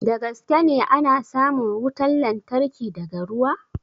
Da gaske ne ana samun wutan lantarki daga ruwa?